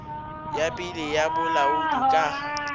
ya pele ya bolaodi ka